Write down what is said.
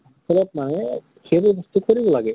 আচলত মানে সেইবোৰ বস্তু কৰিব লাগে।